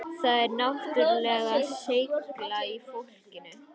Það er náttúrulega seigla í fólkinu